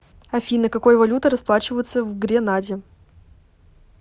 афина какой валютой расплачиваются в гренаде